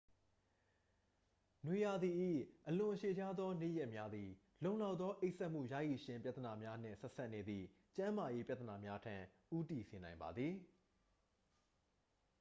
နွေရာသီ၏ အလွန်ရှည်လျားသောနေ့ရက်များသည် လုံလောက်သောအိပ်စက်မှုရရှိခြင်းပြဿနာများနှင့် ဆက်စပ်နေသည့်ကျန်းမာရေးပြဿနာများထံ ဦးတည်စေနိုင်ပါသည်